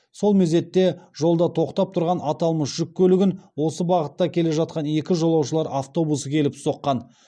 сол мезетте жолда тоқтап тұрған аталмыш жүк көлігін осы бағытта келе жатқан екі жолаушылар автобусы келіп соққан